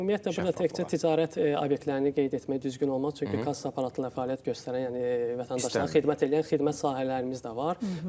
Ümumiyyətlə təkcə ticarət obyektlərini qeyd etmək düzgün olmaz, çünki kassa aparatı ilə fəaliyyət göstərən, yəni vətəndaşlara xidmət eləyən xidmət sahələrimiz də var.